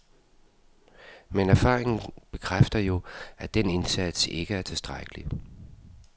Men erfaringen bekræfter jo, at den indsats ikke er tilstrækkelig.